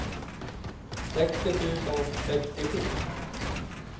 sextio tusen sextiosju